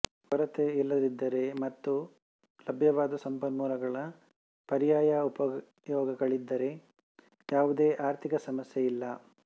ಕೊರತೆ ಇಲ್ಲದಿದ್ದರೆ ಮತ್ತು ಲಭ್ಯವಾದ ಸಂಪನ್ಮೂಲಗಳ ಪರ್ಯಾಯ ಉಪಯೋಗಗಳಿದ್ದರೆ ಯಾವುದೇ ಆರ್ಥಿಕ ಸಮಸ್ಯೆ ಇಲ್ಲ